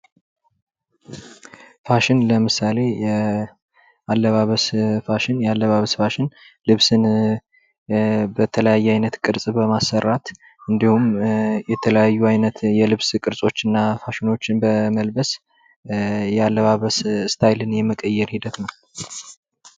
ፋሽን ለምሳሌ አለባበስ ፋሽን ያለባበስ ፋሽን ልብስን በተለያየ አይነት ቅርጽ በማሰራት እንዲሁም የተለያዩ አይነት የልብስ ቅርሶች እና ፋሽኖችን በመልበስ አለባበስ ስታይልን የመቀየር ሂደት ነው።